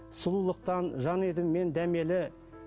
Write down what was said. сұлулықтан жан едім мен дәмелі